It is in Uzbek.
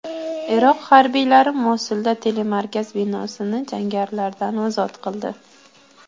Iroq harbiylari Mosulda telemarkaz binosini jangarilardan ozod qildi.